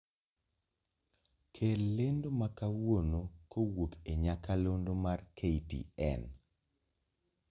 Kel lendo makawuono kowuok e nyakalondo mar k.t.n